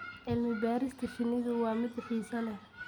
Cilmi-baarista shinnidu waa mid xiiso leh.